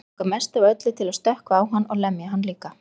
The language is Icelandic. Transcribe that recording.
Langar mest af öllu til að stökkva á hann og lemja hann líka.